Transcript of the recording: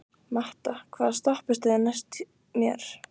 Matta, hvaða stoppistöð er næst mér?